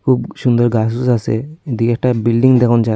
খুব সুন্দর আসে এদিকে একটা বিল্ডিং দেখন যায়।